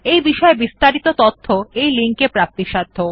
এই বিষয় বিস্তারিত তথ্য এই লিঙ্ক এ প্রাপ্তিসাধ্য